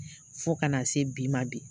Fo ka na se bi ma bi